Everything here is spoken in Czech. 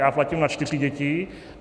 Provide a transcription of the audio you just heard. Já platím na čtyři děti.